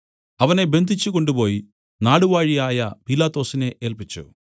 അവനെ ബന്ധിച്ചു കൊണ്ടുപോയി നാടുവാഴിയായ പീലാത്തൊസിനെ ഏല്പിച്ചു